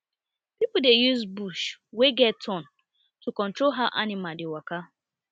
pipo dey use bush wey get wey get thorn to control how animal dey waka